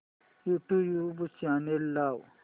YouTube channel लाव